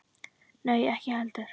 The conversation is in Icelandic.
Nei, ekki heldur.